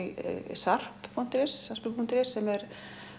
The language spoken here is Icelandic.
sarp punktur is punktur is sem er